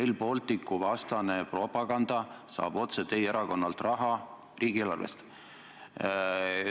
Rail Balticu vastane propaganda saab otse teie erakonna kaudu riigieelarvest raha.